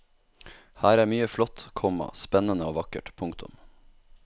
Her er mye flott, komma spennende og vakkert. punktum